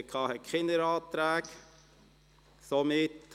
Zur JGK werden keine Anträge gestellt.